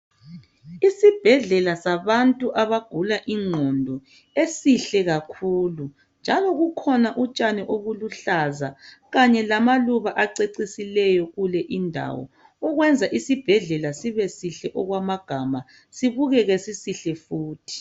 isibhedlela sabantu abagula inqondo esihle kakhulu njalo kukhona utshani olubuhlaza kanye lamaluba acecisileyo kule indawo ukwenzela ukuthi isibhedlela sibukeke sisihle kakhulu.